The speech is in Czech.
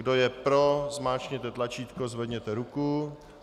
Kdo je pro, zmáčkněte tlačítko, zvedněte ruku.